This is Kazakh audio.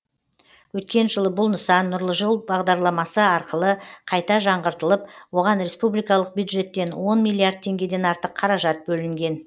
өткен жылы бұл нысан нұрлы жол бағдарламасы арқылы қайта жаңғыртылып оған республикалық бюджеттен он миллиард теңгеден артық қаражат бөлінген